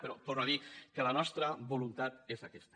però torno a dir que la nostra voluntat és aquesta